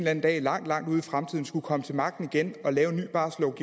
anden dag langt langt ude i fremtiden skulle komme til magten igen og lave